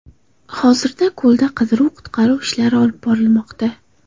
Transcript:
Hozirda ko‘lda qidiruv-qutqaruv ishlari olib borilmoqda.